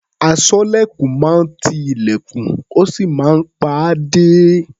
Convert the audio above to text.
Aṣọ́lẹ̀kùn máa ń ti ilẹ̀kùn, ó sì máa ń pa á dé.